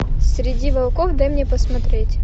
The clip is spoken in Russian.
среди волков дай мне посмотреть